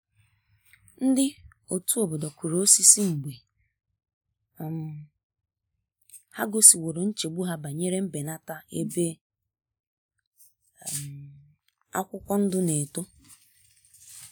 Ndị otu obodo kụrụ osisi mgbe um ha gosiworo nchegbu ha banyere mbenata ebe um akwụkwọ ndụ na eto.